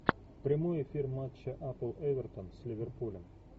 прямой эфир матча апл эвертон с ливерпулем